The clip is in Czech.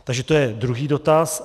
Takže to je druhý dotaz.